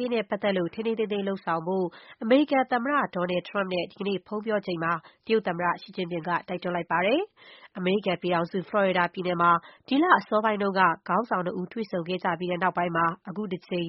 ရေးနဲ့ပတ်သက်လို့ ထိန်းထိန်းသိမ်းသိမ်း လုပ်ဆောင်ဖို့ အမေရိကန်သမ္မတ Donald Trump နဲ့ ဒီကနေ့ ဖုန်းပြောချိန်မှာ တရုတ် သမ္မတ ရှီကျင်းဖျင်က တိုက်တွန်းလိုက်ပါတယ်။ အမေရိကန်ပြည်ထောင်စု ဖလော်ရီဒါပြည်နယ်မှာ ဒီလ အစောပိုင်းတုန်းက ခေါင်းဆောင်နှစ်ဦး တွေ့ဆုံခဲ့ကြပြီးတဲ့နောက်ပိုင်း သူတို့နှစ်